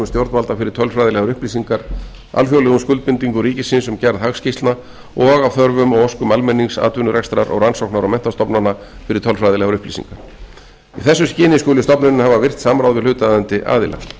stjórnvalda fyrir tölfræðilegar upplýsingar alþjóðlegum skuldbindingum ríkisins um gerð hagskýrslna og af þörfum og óskum almennings atvinnurekstrar og rannsóknar og menntastofnana í þessu skyni skuli stofnunin hafa virkt samráð við hlutaðeigandi aðila í þriðju